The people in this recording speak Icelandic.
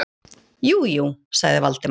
Jú, jú- sagði Valdimar.